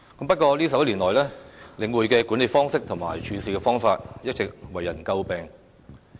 不過，這11年來，領匯的管理方式和處事手法一直為人詬病。